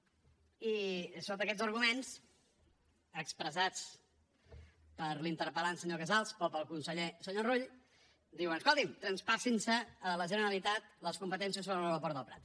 i sota aquests arguments expressats per l’interpel·lant senyor casals o pel conseller senyor rull diuen escoltin traspassin se a la generalitat les competències sobre l’aeroport del prat